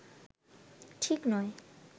ঠিক নয়